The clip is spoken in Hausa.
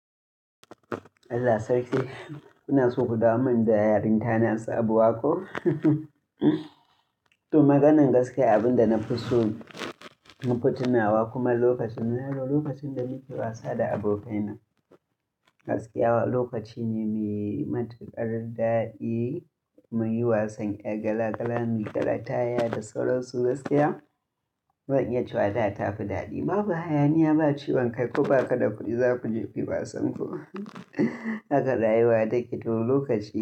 Allah sarki kuna so ku dawo min da yaranta na sabuwa ko? To maganan gaskiya abin da na fi so mu futunawa kuma lokacin muna yara lokacin da muke wasa da abokaina. Gaskiya lokaci ne mai matukar daɗi, muyi wasan ƴar gala gala, mu gara taya da sauran su gaskiya zan iya cewa da tafi daɗi. Babu hayaniya, ba ciwon kai ko ba ka da kuɗi za ku je kuyi wasan ku haka rayuwa take to lokaci.